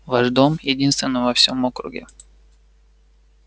ваш дом единственный во всей округе